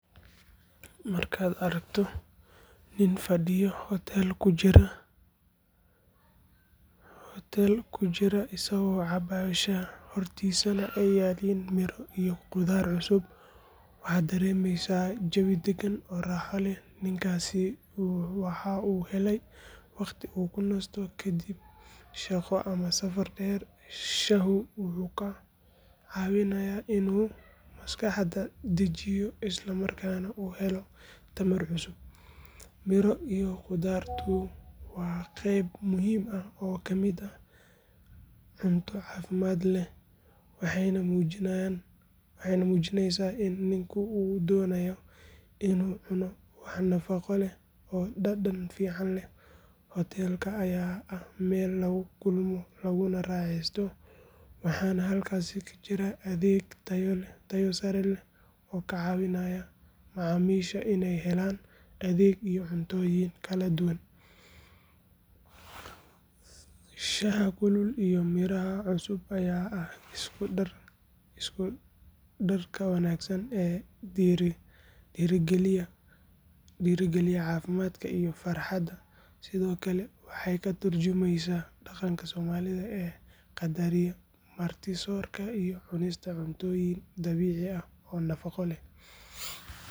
Markaad aragto nin fadhiyo hotel ku jira isagoo cabaya shaah, hortiisa ay yaalliin miro iyo khudaar cusub, waxaad dareemaysaa jawi dagan oo raaxo leh. Ninkaasi waxa uu helayaa waqti uu ku nasto kadib shaqo ama safar dheer, shaahu wuxuu ka caawinayaa inuu maskaxda dejiyo isla markaana uu helo tamar cusub. Miro iyo khudaartu waa qayb muhiim ah oo ka mid ah cunto caafimaad leh, waxayna muujinaysaa in ninku uu doonayo inuu cuno wax nafaqo leh oo dhadhan fiican leh. Hotelka ayaa ah meel lagu kulmo laguna raaxeysto, waxaana halkaas ka jira adeeg tayo sare leh oo ka caawinaya macaamiisha inay helaan adeeg iyo cuntooyin kala duwan. Shaaha kulul iyo miro cusub ayaa ah isku darka wanaagsan ee dhiirrigeliya caafimaadka iyo farxadda, sidoo kale waxay ka tarjumaysaa dhaqanka Soomaalida oo qadariya marti-soorka iyo cunista cuntooyin dabiici ah oo nafaqo leh.